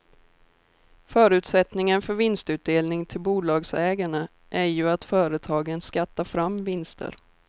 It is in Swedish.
Förutsättningen för vinstutdelning till bolagsägarna är ju att företagen skattar fram vinster.